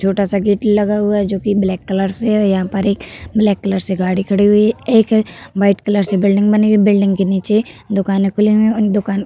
छोटा- सा गेट लगा हुआ है जोकि ब्लैक कलर से ओ यहाँ पर एक ब्लैक कलर से गाड़ी खड़ी हुई है एक व्हाइट कलर से बिल्डिंग बनी हुई है बिल्डिंग के नीचे दुकानें खुली हुई है उन दुकान --